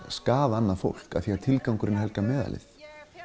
skaða annað fólk því tilgangurinn helgar meðalið